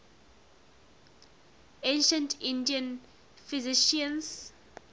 ancient indian physicians